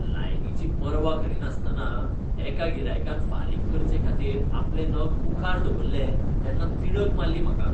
लायनीची पर्वा करिनासतना एका गिरायकान फारीक करचेखातीर आपले नग मुखार दवरले तेन्ना तिडक मारली म्हाका.